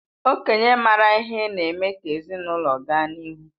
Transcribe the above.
Okenye maara ihe na-eme ka ezinụlọ ga n'ihu